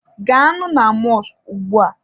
Gaanụ na mọskụ ugbua!